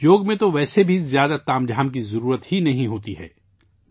یوگا میں تو ویسے بھی زیادہ تام جھام کی ضرورت نہیں ہے